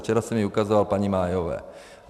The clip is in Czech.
Včera jsem ji ukazoval paní Mayové.